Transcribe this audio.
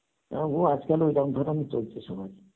হ্যাঁ ও আজকাল ইরাম ধরনের ই চলছে সবার